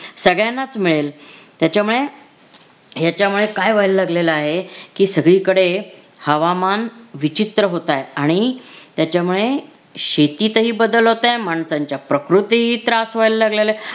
सगळ्यांनाच मिळेल त्याच्यामुळे ह्याच्यामुळे काय व्हायला लागलेलं आहे की सगळीकडे हवामान विचित्र होतंय आणि त्याच्यामुळे शेतीतही बदल होताय माणसांच्या प्रकृतीही त्रास व्हायला लागलेलाय